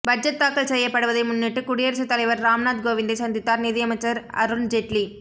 budget தாக்கல் செய்யப்படுவதை முன்னிட்டு குடியரசுத் தலைவர் ராம்நாத் கோவிந்தைச் சந்தித்தார் நிதியமைச்சர் அருண் ஜெட்லி